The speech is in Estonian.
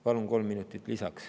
Palun kolm minutit lisaks.